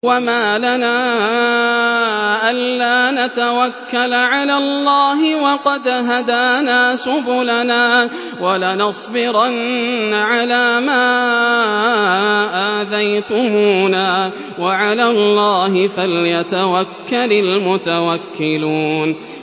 وَمَا لَنَا أَلَّا نَتَوَكَّلَ عَلَى اللَّهِ وَقَدْ هَدَانَا سُبُلَنَا ۚ وَلَنَصْبِرَنَّ عَلَىٰ مَا آذَيْتُمُونَا ۚ وَعَلَى اللَّهِ فَلْيَتَوَكَّلِ الْمُتَوَكِّلُونَ